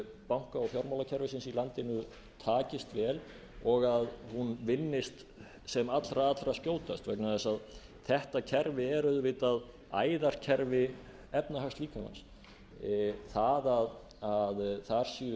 banka og fjármálakerfisins í landinu takist vel og að hún vinnist sem allra allra skjótast vegna þess að þetta kerfi er auðvitað æðakerfi efnahagslíkamann það að þar séu